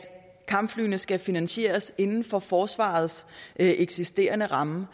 kampflyene skal finansieres inden for forsvarets eksisterende ramme